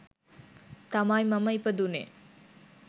තමයි මම ඉපදුණේ.